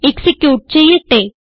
execute ചെയ്യട്ടെ